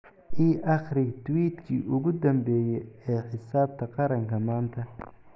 i akhri tweet-kii ugu dambeeyay ee xisaabta qaranka maanta